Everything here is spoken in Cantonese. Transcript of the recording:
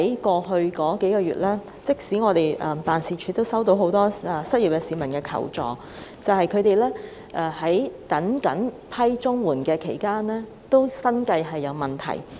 過去數月，我們的議員辦事處收到很多失業市民的求助，他們在等候審批綜援期間，生計已經出現問題。